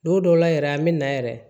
Don dɔw la yɛrɛ an bɛ na yɛrɛ